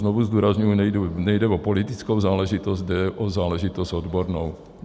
Znovu zdůrazňuji, nejde o politickou záležitost, jde o záležitost odbornou.